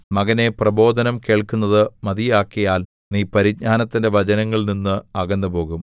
മകനേ പ്രബോധനം കേൾക്കുന്നത് മതിയാക്കിയാൽ നീ പരിജ്ഞാനത്തിന്റെ വചനങ്ങളിൽ നിന്ന് അകന്നുപോകും